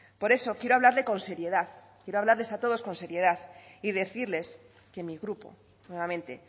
por eso quiero hablarle con seriedad quiero hablarles a todos con seriedad y decirles que mi grupo nuevamente